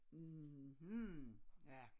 Mhm ja